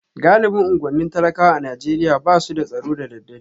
Galibin unguwannin talakawa a Najeriya ba su da tsaro da daddare